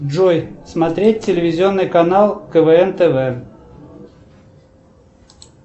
джой смотреть телевизионный канал квн тв